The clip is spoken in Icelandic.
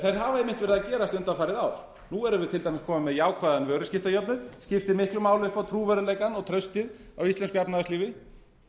verið að gerast undanfarin ár nú erum við til dæmis komin með jákvæðan vöruskiptajöfnuð skiptir miklu máli upp á trúverðugleikann og traustið á íslensku efnahagslífi